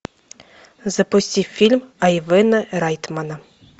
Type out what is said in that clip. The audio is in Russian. запусти фильм айвена райтмана